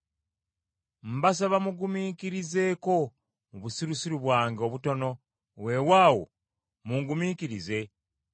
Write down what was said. Mbasaba mungumiikirizeeko mu busirusiru bwange obutono, weewaawo mungumiikirize.